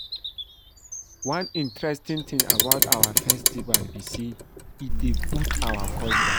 One interesting thing about our festival be say e dey boost our culture